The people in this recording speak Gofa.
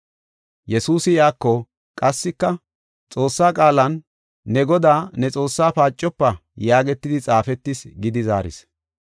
Yesuusi iyako, “Qassika, ‘Xoossaa qaalan ne Godaa, ne Xoossaa paacofa’ yaagetidi xaafetis” gidi zaaris.